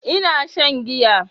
Ina shan giya